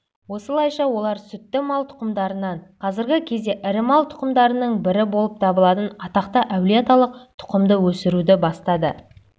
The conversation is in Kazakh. осылайша олар сүтті мал тұқымдарынан қазіргі кезде ірі мал тұқымдарының бірі болып табылатын атақты әлиеаталық тұқымды өсіруді бастады